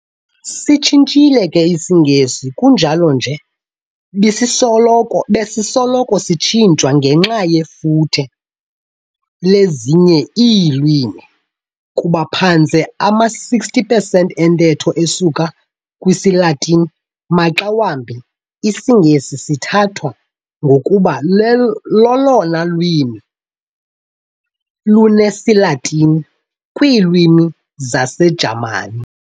Sitshintshile ke isiNgesi, kunjalo nje besisoloko sitshintshwa ngenxa yefuthe lezinye iilwimi. Kuba phantse ama-60 pesenti entetho isuka kwisiLatini, maxa wambi isiNgesi sithathwa ngokuba lolona lwimi lunesiLatini kwiilwimi zesiJamani.